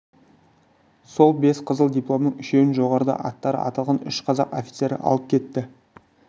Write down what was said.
сол бес қызыл дипломның үшеуін жоғарыда аттары аталған үш қазақ офицері алып кетті